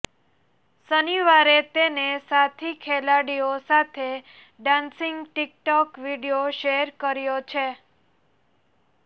શનિવારે તેને સાથી ખેલાડીઓ સાથે dancing TikTok video share કર્યો છે